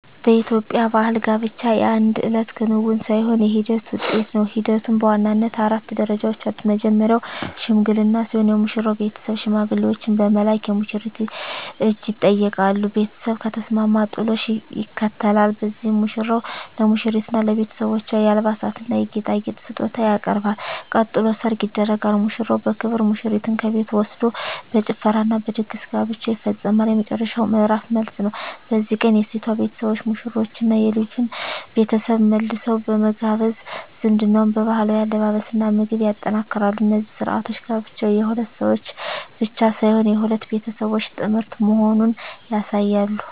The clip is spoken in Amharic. በኢትዮጵያ ባሕል ጋብቻ የአንድ እለት ክንውን ሳይሆን የሂደት ውጤት ነው። ሂደቱም በዋናነት አራት ደረጃዎች አሉት። መጀመርያው "ሽምግልና" ሲሆን፣ የሙሽራው ቤተሰብ ሽማግሌዎችን በመላክ የሙሽሪትን እጅ ይጠይቃሉ። ቤተሰብ ከተስማማ "ጥሎሽ" ይከተላል፤ በዚህም ሙሽራው ለሙሽሪትና ለቤተሰቦቿ የአልባሳትና የጌጣጌጥ ስጦታ ያቀርባል። ቀጥሎ "ሰርግ" ይደረጋል፤ ሙሽራው በክብር ሙሽሪትን ከቤቷ ወስዶ በጭፈራና በድግስ ጋብቻው ይፈጸማል። የመጨረሻው ምዕራፍ "መልስ" ነው። በዚህ ቀን የሴቷ ቤተሰቦች ሙሽሮቹንና የልጁን ቤተሰብ መልሰው በመጋበዝ ዝምድናውን በባህላዊ አለባበስና ምግብ ያጠናክራሉ። እነዚህ ሥርዓቶች ጋብቻው የሁለት ሰዎች ብቻ ሳይሆን የሁለት ቤተሰቦች ጥምረት መሆኑን ያሳያሉ።